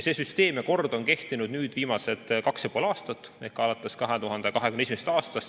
See süsteem ja kord on kehtinud nüüd viimased kaks ja pool aastat ehk alates 2021. aastast.